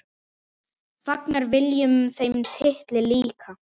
Fagnar Willum þeim titli líka?